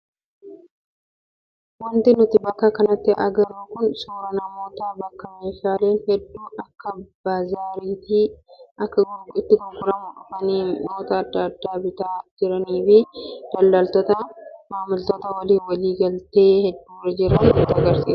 Wanti nuti bakka kanatti agarru kun suuraa namoota bakka meeshaaleen hedduu akka baazaariitti itti gurguramu dhufanii mi'oota adda addaa bitaa jiranii fi daldaltoota maamiltoota waliin walii galtee irra jiran hedduu agarra.